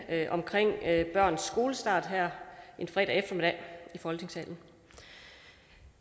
om børns skolestart her en fredag eftermiddag i folketingssalen